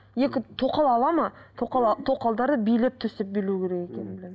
екі тоқал алады ма тоқал тоқалдарды билеп төстеп билеу керек екенін білемін